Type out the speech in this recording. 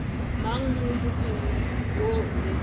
mang mo motseng o be